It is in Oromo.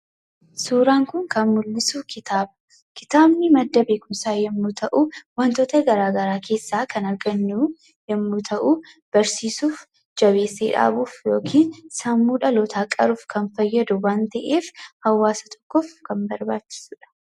Suuraan kun kan mul'isu kitaaba. Kitaabni madda beekumsaa yommuu ta'u, wantoota garaagaraa keessaa kan argannu yommuu ta'u, barsiisuuf, jabeessee dhaabuuf yookii sammuu dhalootaa qaruuf kan fayyadu waan ta'eef, hawaasa tokkoof kan barbaachisu dha.